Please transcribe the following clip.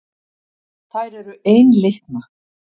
Þær eru einlitna.